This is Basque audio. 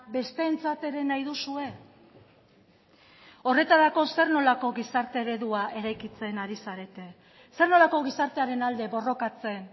besteentzat ere nahi duzue horretarako zer nolako gizarte eredua eraikitzen ari zarete zer nolako gizartearen alde borrokatzen